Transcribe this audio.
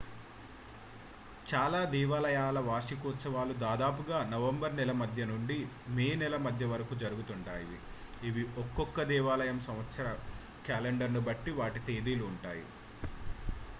చాలా దేవాలయాల వార్షికోత్సవాలు దాదాపుగా నవంబర్ నెల మధ్య నుండి మే నెల మధ్య వరకూ జరుగుతుంటాయి ఇవి ఒకొక్క దేవాలయం సంవత్సర క్యాలెండర్ను బట్టి వాటి తేదీలు ఉంటాయి